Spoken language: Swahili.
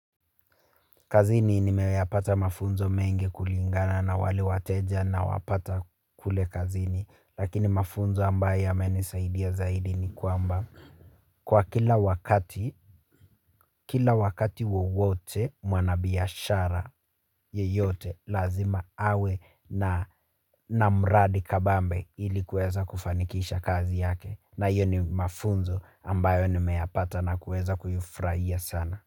Kazini nimeyapata mafunzo mengi kulingana na wale wateja nawapata kule kazini lakini mafunzo ambayo yamenisaidia zaidi ni kwamba. Kwa kila wakati, kila wakati wawote mwanabiashara yeyote lazima awe na na mradi kabambe ili kuweza kufanikisha kazi yake na hiyo ni mafunzo ambayo nimeyapata na kuweza kuifurahia sana.